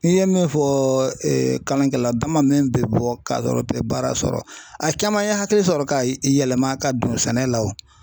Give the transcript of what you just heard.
N'i ye min fɔ kalankɛla dama be bɔ ka yɔrɔ bɛɛ baara sɔrɔ a caman ye hakili sɔrɔ ka yɛlɛma ka don sɛnɛ la o